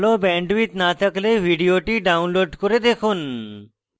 ভাল bandwidth না থাকলে ভিডিওটি download করে দেখুন